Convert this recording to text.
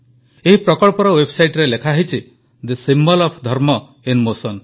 ଏହି ପ୍ରକଳ୍ପର ୱେବସାଇଟରେ ଲେଖାହୋଇଛି the symbol of dharma in motion